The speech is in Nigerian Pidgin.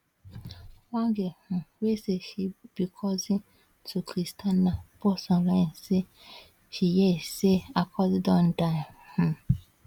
one girl um wey say she becousin to christiana post onlinesay she hear say her cousin don die um